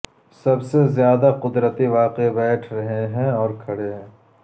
سب سے زیادہ قدرتی واقعے بیٹھ رہے ہیں اور کھڑے ہیں